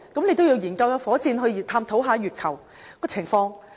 你也得研究火箭，探討月球的情況。